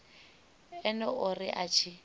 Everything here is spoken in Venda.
ene o ri a tshi